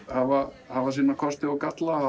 hafa hafa sína kosti og galla